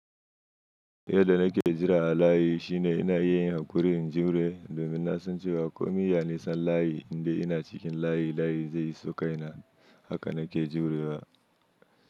Yadda nake jira a layi shine ina yin haƙurin jure domin na san cewa ko nine a ƙarshen layi, indai ina cikin layi, layi zai iso kai na. Haka nake jurewa.